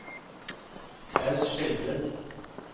Claus Skjelbred